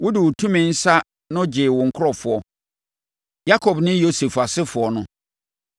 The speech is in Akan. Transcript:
Wode wo tumi nsa no gyee wo nkurɔfoɔ, Yakob ne Yosef asefoɔ no.